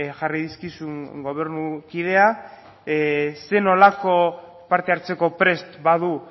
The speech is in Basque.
jarri dizkizun gobernu kidea zer nolako parte hartzeko prest badu